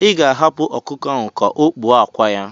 Ị ga-ahapụ ọkụkọ ahụ ka o kpuo akwa ya.